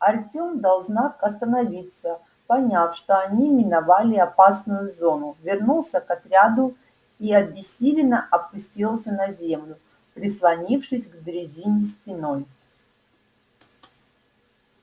артем дал знак остановиться поняв что они миновали опасную зону вернулся к отряду и обессиленно опустился на землю прислонившись к дрезине спиной